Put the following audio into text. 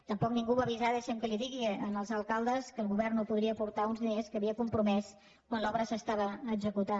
tampoc ningú va avisar deixi’m que li ho digui els alcaldes que el govern no podria aportar uns diners que havia compromès quan l’obra s’estava executant